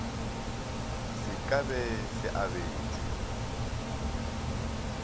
se ka be se abetšwe